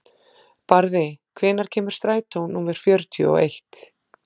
Barði, hvenær kemur strætó númer fjörutíu og eitt?